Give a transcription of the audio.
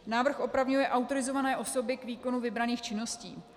Návrh opravňuje autorizované osoby k výkonu vybraných činností.